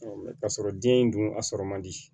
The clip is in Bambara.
k'a sɔrɔ den in dun a sɔrɔ man di